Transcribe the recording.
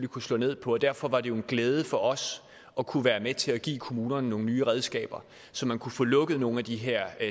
kunne slå ned på og derfor var det jo en glæde for os at kunne være med til at give kommunerne nogle nye redskaber så man kunne få lukket nogle af de her